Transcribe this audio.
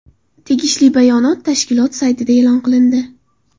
Tegishli bayonot tashkilot saytida e’lon qilindi .